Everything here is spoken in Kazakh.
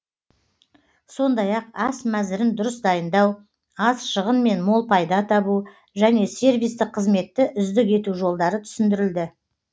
сондай ақ ас мәзірін дұрыс дайындау аз шығынмен мол пайда табу және сервистік қызметті үздік ету жолдары түсіндірілді